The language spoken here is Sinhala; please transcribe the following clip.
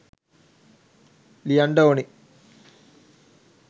ලියන්ට ඕනේ